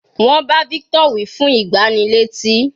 Wọ́n bá victor wí fún ìgbánilétí.